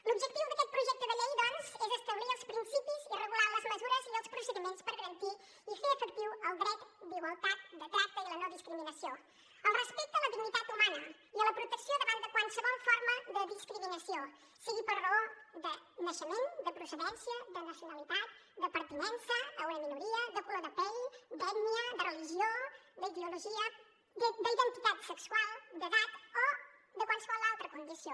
l’objectiu d’aquest projecte de llei doncs és establir els principis i regular les mesures i els procediments per garantir i fer efectiu el dret d’igualtat de tracte i la no discriminació el respecte a la dignitat humana i a la protecció davant de qualsevol forma de discriminació sigui per raó de naixement de procedència de nacionalitat de pertinença a una minoria de color de pell d’ètnia de religió d’ideologia d’identitat sexual d’edat o de qualsevol altra condició